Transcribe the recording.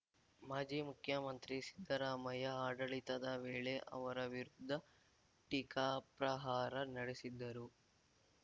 ಮಾಜಿ ಮುಖ್ಯಮಂತ್ರಿ ಸಿದ್ದರಾಮಯ್ಯ ಆಡಳಿತದ ವೇಳೆ ಅವರ ವಿರುದ್ಧ ಟೀಕಾಪ್ರಹಾರ ನಡೆಸಿದ್ದರು